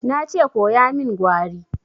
Na ce koya min Gwari!